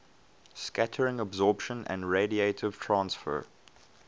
scattering absorption and radiative transfer